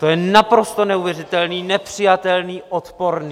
To je naprosto neuvěřitelné, nepřijatelné, odporné.